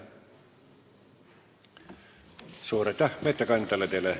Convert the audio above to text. Suur aitäh ettekandjale!